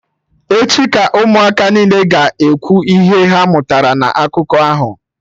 Echi ka Ụmụaka niile ga-ekwu ihe ha mụtara na akụkọ ahụ